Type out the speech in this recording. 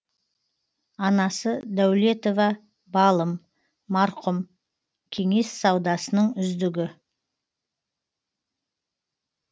анасы дәулетова балым марқұм кеңес саудасының үздігі